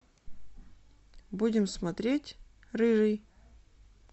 будем смотреть рыжий